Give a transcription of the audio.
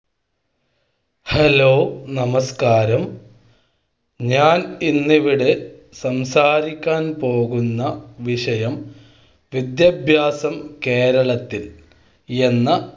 hello നമസ്ക്കാരം ഞാൻ ഇന്നിവിടെ സംസാരിക്കാൻ പോകുന്ന വിഷയം വിദ്യാഭ്യാസം കേരളം ത്തിൽ എന്ന